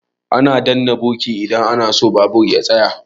Ana danna birki idan ana so babur ya tsaya.